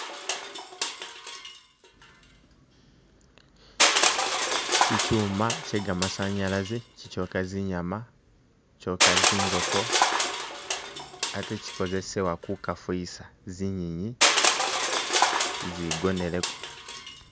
Kikyuuma kye kamasanyalazi kikokya zinyaama nga zingooko ate kukozesebwa kukafuwisa zinyenyi izigoneleko.